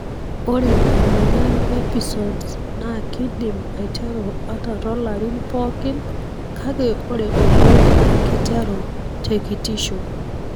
Ore emoyian Episodes na kindim aiteru ata tolarin pookin kake ore oleng na kiteru tekitisho.